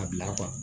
A bila